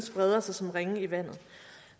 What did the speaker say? breder sig som ringe i vandet